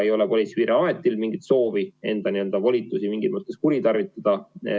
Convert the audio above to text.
Ei ole Politsei- ja Piirivalveametil mingit soovi enda volitusi mingis mõttes kuritarvitada.